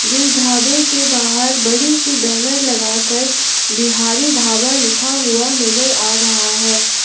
जिस ढाबे के बाहर बड़ी सी बैनर लगाकर बिहारी ढाबा लिखा हुआ नजर आ रहा है।